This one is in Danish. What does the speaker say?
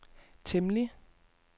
temmelig